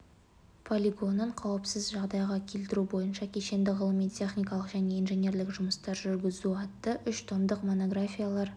полигонын қауіпсіз жағдайға келтіру бойынша кешенді ғылыми-техникалық және инженерлік жұмыстар жүргізу атты үш томдық монографиялар